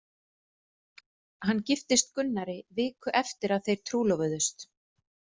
Hann giftist Gunnari viku eftir að þeir trúlofuðust.